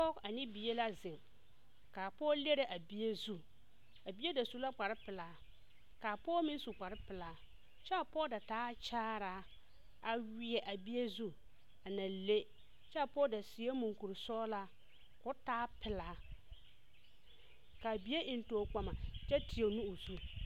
Pɔge ane bie la zeŋ kaa pɔge leri a bie zu a bie da su la kpare pelaa kyɛ a pɔge da taa kyaare a wiɛ a bie zu a na le kyɛ pɔge da seɛ muɔkur sɔglaa koo taa pelaa kaa bie eŋ tɔɔkpama kyɛ tiɛ o nu o zu.